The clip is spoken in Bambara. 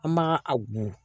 An b'a a go